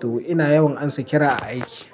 To ina yawan amsa kira aiki.